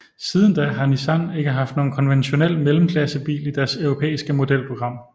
Siden da har Nissan ikke haft nogen konventionel mellemklassebil i deres europæiske modelprogram